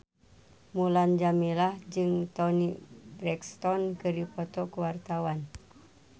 Mulan Jameela jeung Toni Brexton keur dipoto ku wartawan